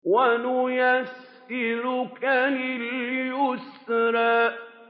وَنُيَسِّرُكَ لِلْيُسْرَىٰ